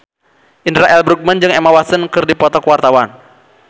Indra L. Bruggman jeung Emma Stone keur dipoto ku wartawan